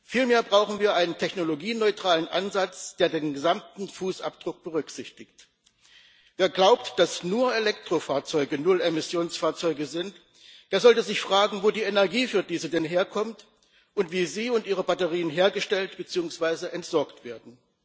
Vielmehr brauchen wir einen technologieneutralen Ansatz, der den gesamten Fußabdruck berücksichtigt. Wer glaubt, dass nur Elektrofahrzeuge Nullemissionsfahrzeuge sind, der sollte sich fragen, wo die Energie für diese denn herkommt und wie sie und ihre Batterien hergestellt beziehungsweise entsorgt werden.